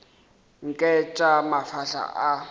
nke ke tša mafahla a